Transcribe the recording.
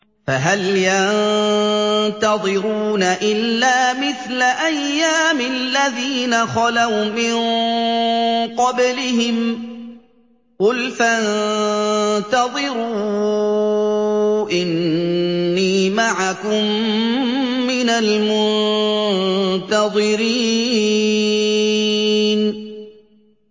فَهَلْ يَنتَظِرُونَ إِلَّا مِثْلَ أَيَّامِ الَّذِينَ خَلَوْا مِن قَبْلِهِمْ ۚ قُلْ فَانتَظِرُوا إِنِّي مَعَكُم مِّنَ الْمُنتَظِرِينَ